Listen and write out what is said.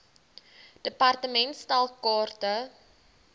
department stel kaarte